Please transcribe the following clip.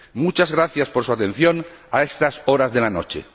Muchas gracias por su atención a estas horas de la noche.